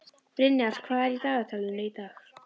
Brynjar, hvað er í dagatalinu í dag?